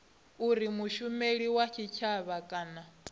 uri mushumeli wa tshitshavha kana